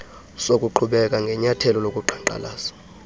zokuqhubeka ngenyathelo lokuqhankqalaza